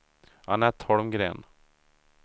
Annette Holmgren